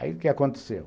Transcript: Aí, o que aconteceu?